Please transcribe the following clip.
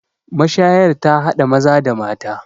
mashayar ta hada Maza da mata